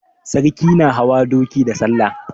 Sarki na hawa doki da salla.